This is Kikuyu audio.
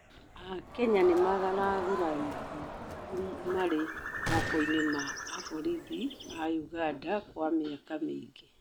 akenya nĩmaragũrarĩrĩo ũrũ marĩ mokoĩnĩ ma maobĩthĩ a Uganda kwa mĩaka mĩĩngĩ